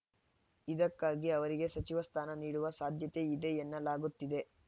ಇದಕ್ಕಾಗಿ ಅವರಿಗೆ ಸಚಿವ ಸ್ಥಾನ ನೀಡುವ ಸಾಧ್ಯತೆ ಇದೆ ಎನ್ನಲಾಗುತ್ತಿದೆ